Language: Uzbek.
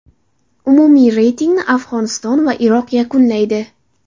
Umumiy reytingni Afg‘oniston va Iroq yakunlaydi.